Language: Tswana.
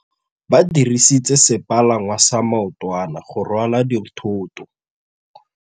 Ba dirisitse sepalangwasa maotwana go rwala dithôtô.